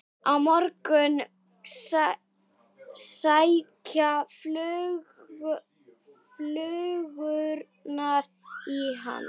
Á morgun sækja flugurnar í hann.